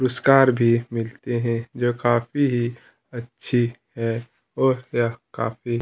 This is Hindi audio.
पुरुस्कार भी मिलते है जो काफी ही अच्छी है और यह काफी--